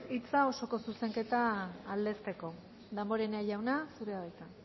hitza osoko zuzenketa aldezteko damborenea jauna zurea da hitza